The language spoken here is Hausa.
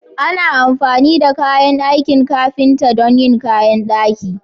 Ana amfani da kayan aikin ƙafinta don yin ƙayan daƙi.